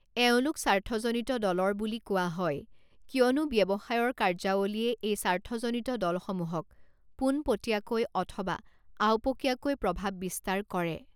এওঁলোক স্বাৰ্থজনিত দলৰ বুলি কোৱা হয় কিয়নো ব্যৱসায়ৰ কাৰ্যাৱলীয়ে এই স্বাৰ্থজনিত দলসমূহক পোনপটীয়াকৈ অথবা আওপকীয়াকৈ প্ৰভাৱ বিস্তাৰ কৰে।